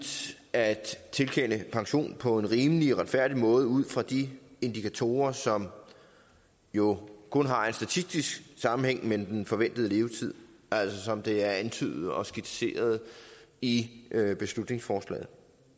at tilkende pension på en rimelig og retfærdig måde ud fra de indikatorer som jo kun har en statistisk sammenhæng med den forventede levetid altså som det er antydet og skitseret i beslutningsforslaget